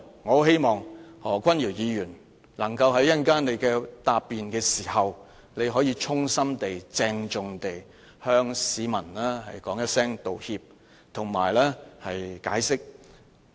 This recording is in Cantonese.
我希望何君堯議員在稍後答辯時可以向市民衷心鄭重地道歉及解釋。